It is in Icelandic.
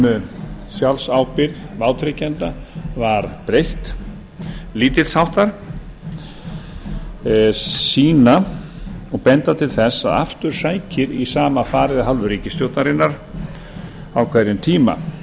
um sjálfsábyrgð vátryggjenda var breytt lítils háttar sýna og benda til þess að aftur sækir í sama farið af hálfu ríkisstjórnar á hverjum tíma